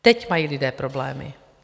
Teď mají lidé problémy.